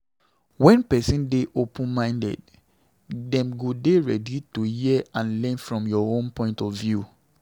When person dey open minded, dem go dey ready to hear and learn from your own point of view